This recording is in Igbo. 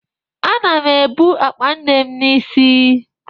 Ana m ebu akpa nne m n'isi